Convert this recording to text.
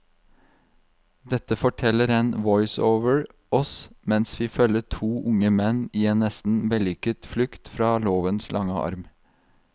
Dette forteller en voiceover oss mens vi følger to unge menn i en nesten vellykket flukt fra lovens lange arm.